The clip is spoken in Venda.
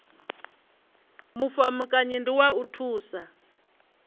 mulamukanyi ndi wa u thusa